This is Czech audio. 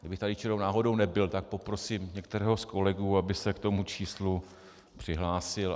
Kdybych tady čirou náhodou nebyl, tak poprosím některého z kolegů, aby se k tomu číslu přihlásil.